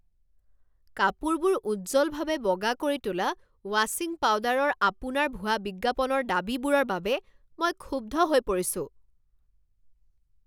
কাপোৰবোৰ উজ্জ্বলভাৱে বগা কৰি তোলা ৱাশ্বিং পাউডাৰৰ আপোনাৰ ভুৱা বিজ্ঞাপনৰ দাবীবোৰৰ বাবে মই ক্ষুব্ধ হৈ পৰিছোঁ।